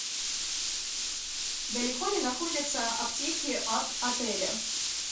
далеко ли находятся аптеки от отеля